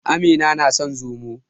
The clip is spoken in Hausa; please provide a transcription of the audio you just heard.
Amina na son Zomo.